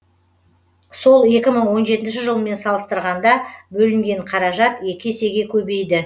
сол екі мың он жетінші жылмен салыстырғанда бөлінген қаражат екі есеге көбейді